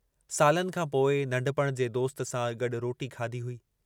सालनि खां पोइ नन्ढपुणि जे दोस्त सां गड्डु रोटी खाधी हुई।